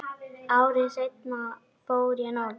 Ári seinna fór ég norður.